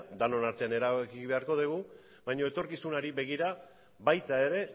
denon artean erabaki beharko dugu baina etorkizunari begira baita ere